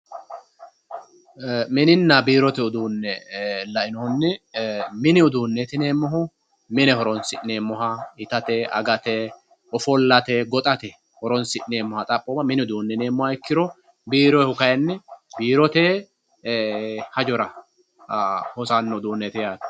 Mininna biirote uduune lainohunni mini uduuneti yineemmohu mine horonsi'neemmoha itate agate ofollate goxate horonsi'neemmoha xaphoma mini uduune yineemmoha ikkiro biirote uduuni kayinni biirote hajora hosano yaate.